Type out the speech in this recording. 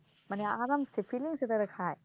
মানে আরামসে feelings এ তারা খায়